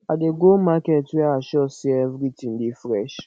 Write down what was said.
i dey go market where i sure sey everytin dey fresh